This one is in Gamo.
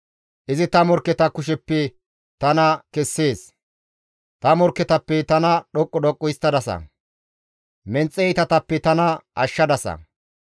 Izi ta morkketa kusheppe tana kessees; ta morkketappe tana dhoqqu dhoqqu histtadasa; menxe iitatappe tana ashshadasa.